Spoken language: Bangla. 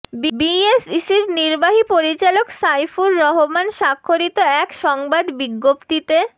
বিএসইসির নির্বাহী পরিচালক সাইফুর রহমান স্বাক্ষরিত এক সংবাদ বিজ্ঞপ্তিতে